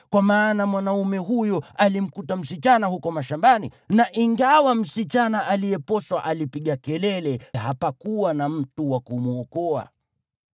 kwa maana mwanaume huyo alimkuta msichana huko mashambani, na ingawa msichana aliyeposwa alipiga kelele, hapakuwa na mtu wa kumwokoa.